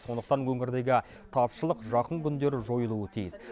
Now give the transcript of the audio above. сондықтан өңірдегі тапшылық жақын күндері жойылуы тиіс